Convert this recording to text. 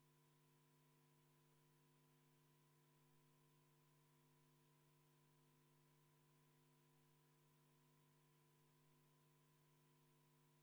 Toona oli mul teine protseduuriline küsimus, aga praegu ma juhin kolleegide tähelepanu sellele, et meid täna hommikust enam Toompea lossi piiranud metallaiad ja märulipolitsei ja koerad ei kaitse.